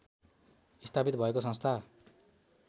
स्थापित भएको संस्था